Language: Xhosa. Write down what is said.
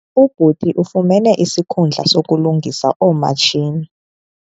Ubhuti ufumene isikhundla sokulungisa oomatshini.